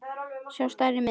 sjá stærri mynd.